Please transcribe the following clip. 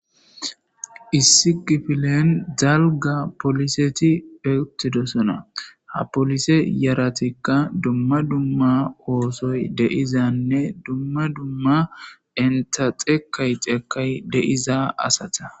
Issi kifilen dalga polisseti uttidosona ha polisse yaritkka dumma dumma ooththoy de'izanne dumma dumma enta dhekkay dhekkay de'iza asata